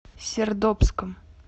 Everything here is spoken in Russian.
сердобском